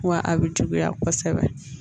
Wa a bɛ juguya kosɛbɛ